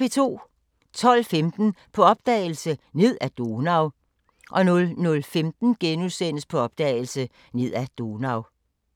12:15: På opdagelse – Ned ad Donau 00:15: På opdagelse – Ned ad Donau *